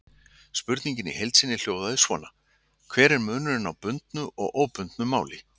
Spurningin í heild sinni hljóðaði svona: Hver er munurinn á bundnu og óbundnu máli?